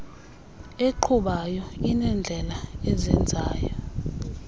eqhubayo inendlela ezenzela